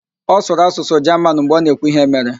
Ọ sụrụ asụsụ Jaman mgbe ọ na-ekwu íhé mere.